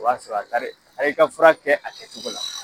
O y'a sɔrɔ a taar'i a taar'i ka fura kɛ a kɛcogo la.